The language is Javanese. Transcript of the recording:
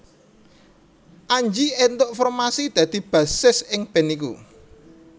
Anji éntuk formasi dadi bassis ing band iku